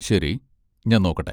ശരി, ഞാൻ നോക്കട്ടെ.